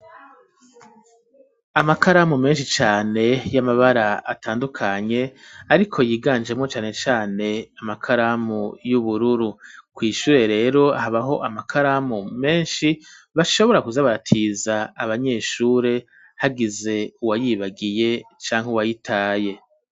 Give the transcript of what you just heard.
Amakaramu menshi cane y'amabara atandukanye ariko yiganjemo cyane cane amakaramu y'ubururu kw'ishure rero habaho amakaramu menshi bashobora kuzabatiza abanyeshure hagize uwayibagiye canke uwayitaye.